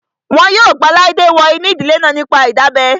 Wọn yóò gba Laide wọ inú ìdílé náà nípa ìdábẹ́